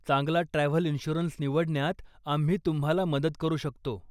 चांगला travel insurance निवडण्यात आम्ही तुम्हाला मदत करू शकतो.